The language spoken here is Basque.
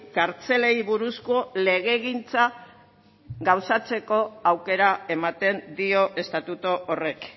kartzelei buruzko legegintza gauzatzeko aukera ematen dio estatutu horrek